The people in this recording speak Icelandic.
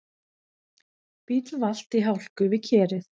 Bíll valt í hálku við Kerið